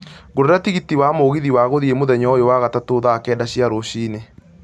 ngũrĩra tigiti wa mũgithi wa gũthiĩ mũthenya ũyũ wa gatatũ thaa kenda cia rũcinĩ